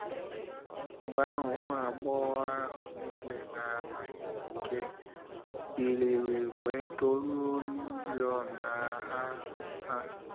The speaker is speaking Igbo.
Mgbe ahụ ụmụ agbọghọ ahụ niile na-amaghị nwoke biliri wee dọrue oriọna ha.” ha.”